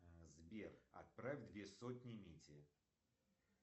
сбер отправь две сотни мите